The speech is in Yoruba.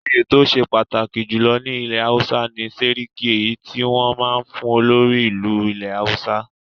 Òye tó ṣe pàtàkì jùlọ ní ilẹ̀ Hausa ni Séríkí èyí tí wọn máa ń fún olórí ìlú ilẹ̀ Hausa.